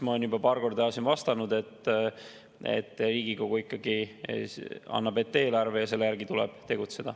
Ma olen juba paar korda siin vastanud, et Riigikogu ikkagi annab ette eelarve ja selle järgi tuleb tegutseda.